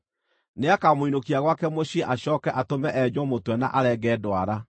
Nĩakamũinũkia gwake mũciĩ acooke atũme enjwo mũtwe na arenge ndwara